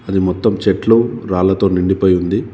అది మొత్తం చెట్లు రాళ్లతో నిండిపోయి ఉంది.